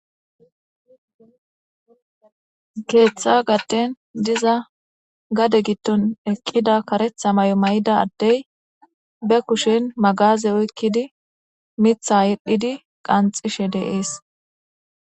Keeththa gatten diza gade gitton eqqida karetha may7o may7ida addey be kushen magaze oykkidi mitha yedhdhidi qanxishe de7ees.